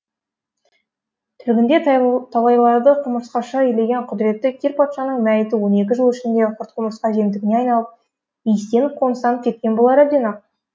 тірлігінде талайларды құмырсқаша илеген құдіретті кир патшаның мәйіті он екі жыл ішінде құрт құмырска жемтігіне айналып иістеніп қоңыстанып кеткен болар әбден ақ